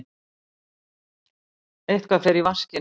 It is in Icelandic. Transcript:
Eitthvað fer í vaskinn